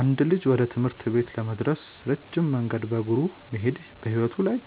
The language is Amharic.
አንድ ልጅ ወደ ትምህርት ቤት ለመድረስ ረጅም መንገድ በእግሩ መሄዱ በሕይወቱ ላይ